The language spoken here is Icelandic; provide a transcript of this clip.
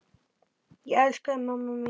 Ég elska þig, mamma mín.